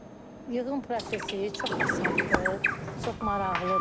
Bu yığım prosesi çox asandır, çox maraqlıdır.